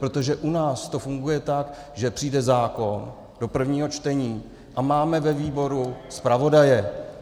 Protože u nás to funguje tak, že přijde zákon do prvního čtení a máme ve výboru zpravodaje.